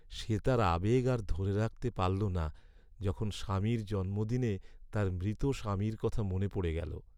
সে তার আবেগ আর ধরে রাখতে পারল না, যখন স্বামীর জন্মদিনে তার মৃত স্বামীর কথা মনে পড়ে গেলো।